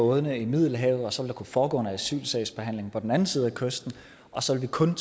bådene i middelhavet så der foregå en asylsagsbehandling på den anden side af kysten så vi kun